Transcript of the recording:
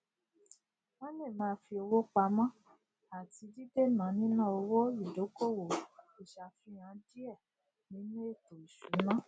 wọn le ma fi owo pamó ati dídèna níná owó ìdọkowọ ìṣàfihàn diẹ nínú ètò ìṣúná